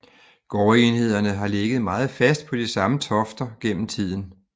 Gårdsenhederne har ligget meget fast på de samme tofter gennem tiden